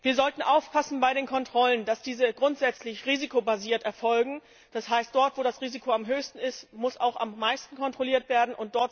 Wir sollten bei den Kontrollen aufpassen, dass diese grundsätzlich risikobasiert erfolgen, das heißt dort, wo das Risiko am höchsten ist, muss auch am meisten kontrolliert werden.